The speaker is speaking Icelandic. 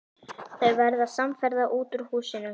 Þau verða samferða út úr húsinu.